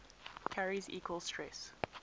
carries equal stress